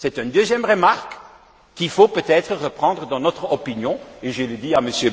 C'est une deuxième remarque qu'il faut peut être reprendre dans notre opinion et je le dis à M.